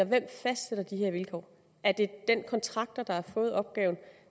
hvem fastsætter de her vilkår er det den contractor der har fået opgaven